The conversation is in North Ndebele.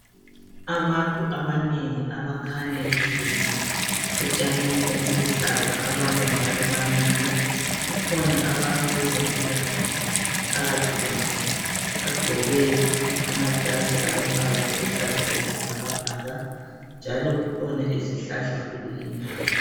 Abantu abanengi abakhanya behlezi etshanini obuluhlaza abanye njalo bamile kukhona abantu bezempilakahle phakathi kwabo bagqoke amajazi alombala aluhlaza akwesibhakabhaka njalo kukhona izihlahla kule indawo